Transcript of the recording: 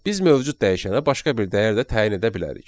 Biz mövcud dəyişənə başqa bir dəyər də təyin edə bilərik.